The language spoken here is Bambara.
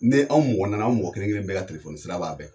Ne anw mɔgɔ naani an mɔgɔ kelen kelen bɛɛ ka tilefoni sira b'a fɛ